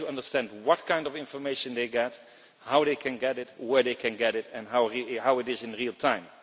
they have to understand what kind of information they get, how they can get it, where they can get it and how it is in real time.